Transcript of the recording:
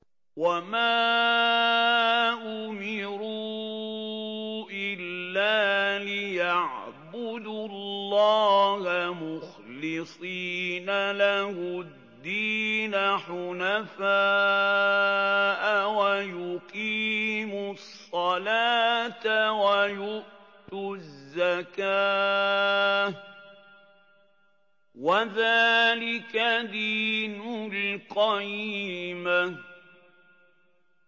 وَمَا أُمِرُوا إِلَّا لِيَعْبُدُوا اللَّهَ مُخْلِصِينَ لَهُ الدِّينَ حُنَفَاءَ وَيُقِيمُوا الصَّلَاةَ وَيُؤْتُوا الزَّكَاةَ ۚ وَذَٰلِكَ دِينُ الْقَيِّمَةِ